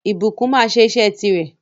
Ìbùkún máa sẹ́ isẹ́ ti rè